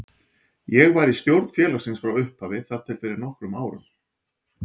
Ég var í stjórn félagsins frá upphafi þar til fyrir nokkrum árum.